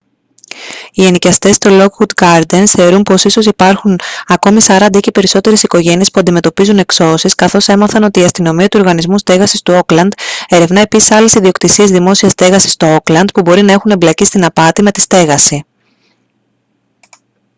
οι ενοικιαστές στο lockwood gardens θεωρούν πως ίσως υπάρχουν ακόμη 40 ή και περισσότερες οικογένειες που αντιμετωπίζουν εξώσεις καθώς έμαθαν ότι η αστυνομία του οργανισμού στέγασης του όκλαντ ερευνά επίσης άλλες ιδιοκτησίες δημόσιας στέγασης στο όκλαντ που μπορεί να έχουν εμπλακεί στην απάτη με τη στέγαση